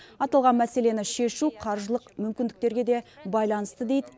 аталған мәселені шешу қаржылық мүмкіндіктерге де байланысты дейді